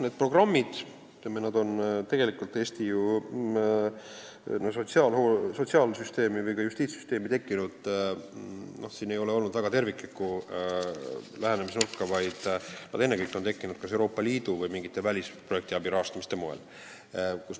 Need programmid on Eesti sotsiaalsüsteemi või ka justiitssüsteemi tekkinud – siin ei ole olnud terviklikku lähenemisnurka – ennekõike kas Euroopa Liidu või mingite välisprojektide rahastamise toel.